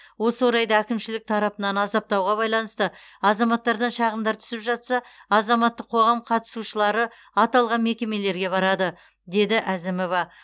осы орайда әкімшілік тарапынан азаптауға байланысты азаматтардан шағымдар түсіп жатса азаматтық қоғам қатысушылары аталған мекемелерге барады деді әзімова